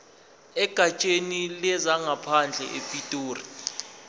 egatsheni lezangaphandle epitoli